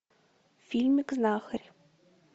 фильм знахарь